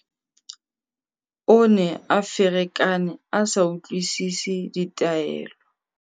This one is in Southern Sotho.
o ne a ferekane a sa utlwisese ditaelo